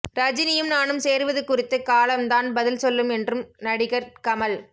ரஜினியும் நானும் சேருவது குறித்து காலம்தான் பதில் சொல்லும் என்றும் நடிகர் கமல்